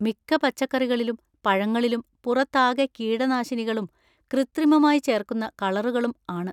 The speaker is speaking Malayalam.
മിക്ക പച്ചക്കറികളിലും പഴങ്ങളിലും പുറത്താകെ കീടനാശിനികളും കൃത്രിമമായി ചേർക്കുന്ന കളറുകളും ആണ്.